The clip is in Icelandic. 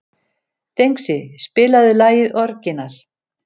Dengsi, spilaðu lagið „Orginal“.